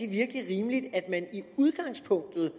virkelig rimeligt at man i udgangspunktet